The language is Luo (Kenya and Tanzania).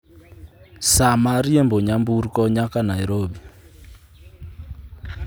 saa ma riembo nyamburko nyaka nairobi